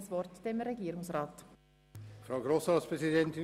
Nun hat Regierungsrat Käser das Wort.